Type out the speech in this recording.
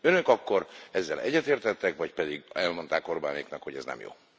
Önök akkor ezzel egyetértettek, vagy pedig elmondták Orbánéknak, hogy ez nem jó?